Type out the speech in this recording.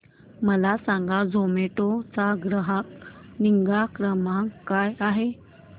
मला सांगा झोमॅटो चा ग्राहक निगा क्रमांक काय आहे